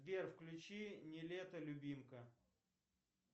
сбер включи нилетто любимка